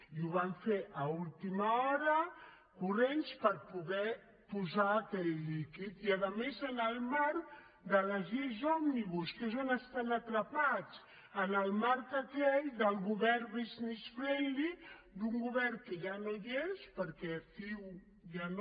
i ho van fer a última hora corrents per poder posar aquell líquid i a més en el marc de les lleis òmnibus que és on estan atrapats en el marc aquell del govern business friendly d’un govern que ja no hi és perquè ciu ja no